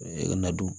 Na du